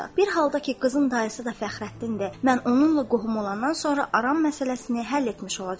Bir halda ki, qızın dayısı da Fəxrəddindir, mən onunla qohum olandan sonra aram məsələsini həll etmiş olacağam.